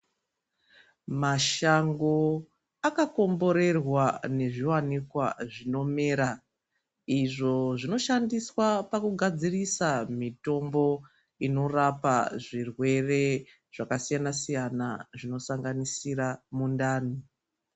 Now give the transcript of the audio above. Mashango akakomborwerwa nezviwanikwa zvinomera izvo zvinoshandiswa pakugadzira mitombo inorapa zvirwere zvakasiyana siyana zvinosanganisira mundani.